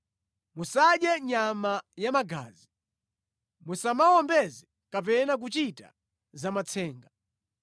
“ ‘Musadye nyama ya magazi. “ ‘Musamawombeze kapena kuchita zamatsenga.